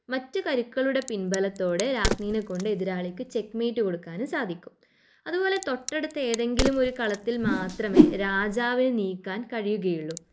മറ്റു കരുക്കളുടെ പിൻബലത്തോടെ രാജ്ഞിനെ കൊണ്ട് എതിരാളിക്ക് ചെക്ക് മേറ്റ് കൊടുക്കാനും സാധിക്കും. അതുപോലെ തൊട്ടടുത്ത ഏതെങ്കിലുമൊരു കളത്തിൽ മാത്രമേ രാജാവിനെ നീക്കാൻ കഴിയുകയുള്ളു.